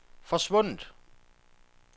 forsvundet